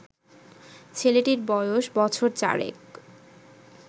ছেলেটির বয়স বছর চারেক